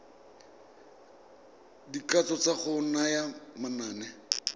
dikatso tsa go naya manane